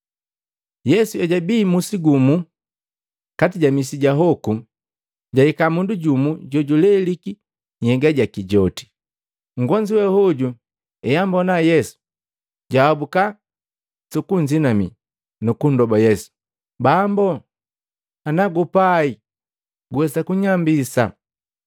Yesu ejabi musi gumu, kati ja misi ja hoku, jahika mundu jumu jojuleliki nhyega joti. Nngonzu we hoju eambona Yesu, jahabuka sukunzinamii, nukundoba Yesu, “Bambu, nagupai guwesa kunyambisa.”